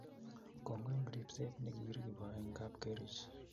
Kongoi eng' ribset ne kiiribo eng' kapkerich